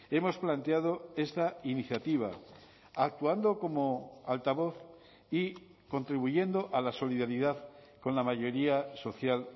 hemos planteado esta iniciativa actuando como altavoz y contribuyendo a la solidaridad con la mayoría social